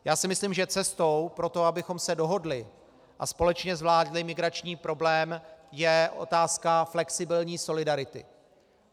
Já si myslím, že cestou pro to, abychom se dohodli a společně zvládli migrační problém, je otázka flexibilní solidarity.